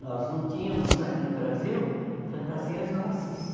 Nós não tínhamos aqui no Brasil fantasias nossas.